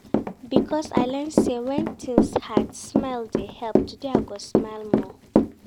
Because I learn sey wen tins hard, smile dey help, today I go smile more.